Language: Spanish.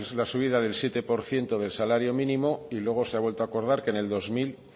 la subida del siete por ciento del salario mínimo y luego se ha vuelto acordar que en el dos mil